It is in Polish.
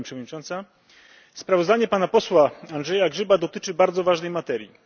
Pani Przewodnicząca! Sprawozdanie pana posła Andrzeja Grzyba dotyczy bardzo ważnej materii.